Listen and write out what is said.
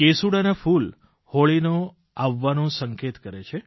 કેસૂડાનાં ફૂલ હોળીનો આવવાનો સંકેત કરે છે